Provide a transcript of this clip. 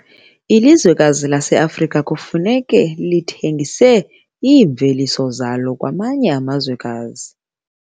Ilizwekazi laseAfrika kufuneka lithengise iimveliso zalo kwamanye amazwekazi.